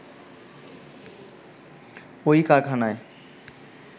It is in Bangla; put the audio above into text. ওই কারখানায়